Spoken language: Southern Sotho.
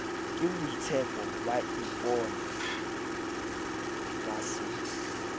keboitshepo ba ipone ba se